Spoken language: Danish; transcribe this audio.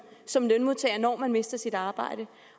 som lønmodtager når man mister sit arbejde